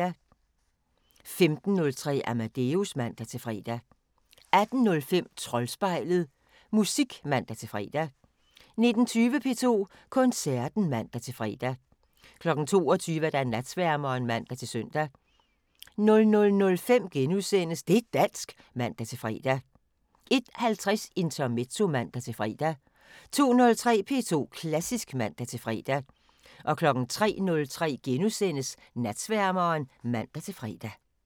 15:03: Amadeus (man-fre) 18:05: Troldspejlet – musik (man-fre) 19:20: P2 Koncerten (man-fre) 22:00: Natsværmeren (man-søn) 00:05: Det' dansk *(man-fre) 01:50: Intermezzo (man-fre) 02:03: P2 Klassisk (man-fre) 03:03: Natsværmeren *(man-fre)